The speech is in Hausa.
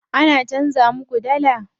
An canza muka dallar?